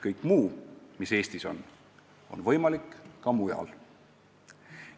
Kõik muu, mis Eestis on, on võimalik ka mujal.